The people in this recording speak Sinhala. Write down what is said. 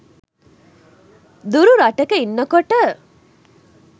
දුර රටක ඉන්නකොට